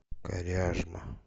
коряжма